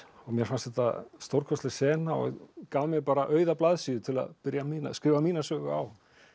mér fannst þetta stórkostleg sena og gaf mér bara auða blaðsíðu til að byrja að skrifa mína sögu á